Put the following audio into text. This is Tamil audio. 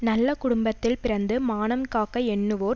நல்ல குடும்பத்தில் பிறந்து மானம் காக்க எண்ணுவோர்